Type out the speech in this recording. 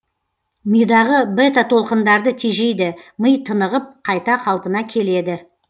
мидағы бета толқындарды тежейді ми тынығып қайта қалпына келеді